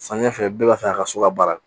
Samiya fɛ bɛɛ b'a fɛ a ka so ka baara